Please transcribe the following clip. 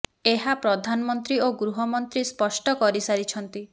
ଏହା ପ୍ରଧାନମନ୍ତ୍ରୀ ଓ ଗୃହ ମନ୍ତ୍ରୀ ସ୍ପଷ୍ଟ କରି ସାରିଛନ୍ତି